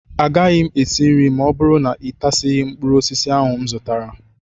Agaghị m esi nri ma ọ bụrụ na ịtasịghị mkpụrụ osisi ahụ m zụtara